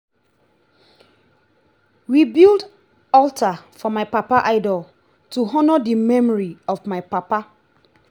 we build alter for my papa idol to honour the memory of my papa